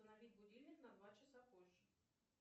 установить будильник на два часа позже